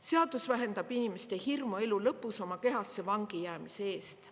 Seadus vähendab inimeste hirmu elu lõpus oma kehasse vangijäämise ees.